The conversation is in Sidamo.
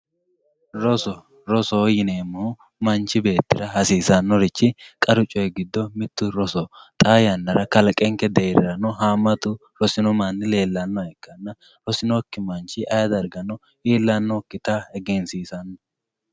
roso rosoho yineemmohu manchi beettira hasiisannorichi qaru coyii giddo mittu rosoho xaa yannarano kalqenke deerrinni haammatu rosino manni leellanno ikkanna rosinokki manchi ayye dargano iillannokkita egensiisanno.